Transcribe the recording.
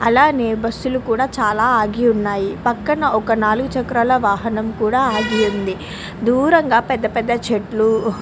ఇక్కడ ఎనో బుసెస్ లు ఆగి ఉన్నాయ్. ఎనో రకాల వాహనాలు ఉన్నాయ్.